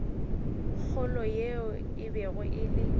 kgolo yeo e bego e